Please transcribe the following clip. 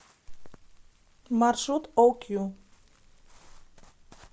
маршрут окью